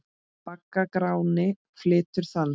Bagga Gráni flytur þann.